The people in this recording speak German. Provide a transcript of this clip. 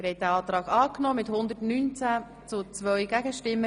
Sie haben den Kredit angenommen.